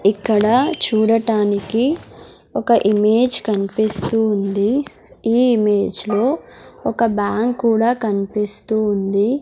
ఇక్కడ చూడటానికి ఒక ఇమేజ్ కన్పిస్తూ ఉంది ఈ ఇమేజ్లో ఒక బ్యాంక్ కూడా కనిపిస్తూ ఉంది.